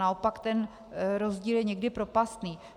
Naopak ten rozdíl je někdy propastný.